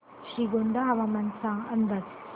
श्रीगोंदा हवामान अंदाज